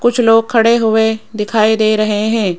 कुछ लोग खड़े हुए दिखाई दे रहे हैं।